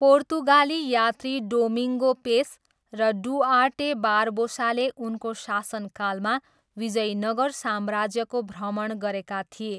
पोर्तुगाली यात्री Domingo Paes र Duarte बारबोसाले उनको शासनकालमा विजयनगर साम्राज्यको भ्रमण गरेका थिए।